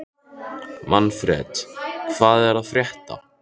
Manfred, hvað er að frétta?